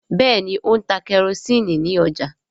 Béèni O ń tá kerosiini ní ọjà.